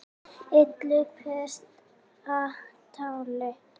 illu pretta táli